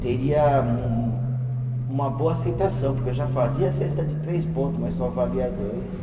teria um, uma boa aceitação, porque eu já fazia cesta de três pontos, mas só valia dois.